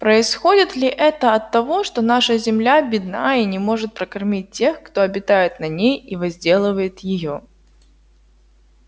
происходит ли это от того что наша земля бедна и не может прокормить тех кто обитает на ней и возделывает её